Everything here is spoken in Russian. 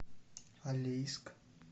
алейск